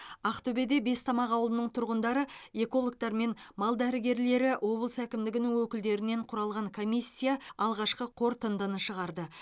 ақтөбеде бестамақ ауылының тұрғындары экологтар мен мал дәрігерлері облыс әкімдігінің өкілдерінен құралған комиссия алғашқы қорытындыны шығарды